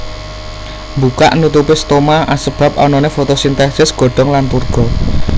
Mbukak nutupé stoma asebab anané fotosintèsis godhong lan turgo